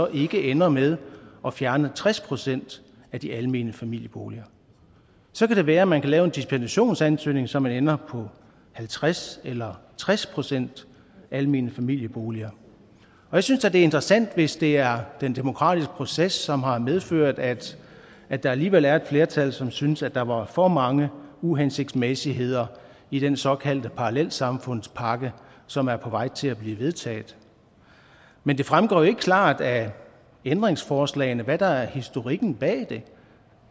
ikke ender med at fjerne tres procent af de almene familieboliger så kan det være man kan lave en dispensationsansøgning så man ender på halvtreds eller tres procent almene familieboliger jeg synes da det er interessant hvis det er den demokratiske proces som har medført at at der alligevel er et flertal som synes at der var for mange uhensigtsmæssigheder i den såkaldte parallelsamfundspakke som er på vej til at blive vedtaget men det fremgår ikke klart af ændringsforslagene hvad der er historikken bag det